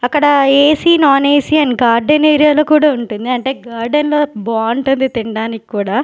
అక్కడ AC non AC and garden area లో కూడా ఉంటుంది అంటే గార్డెన్ లో బాగుంటది తినడానికి కూడా.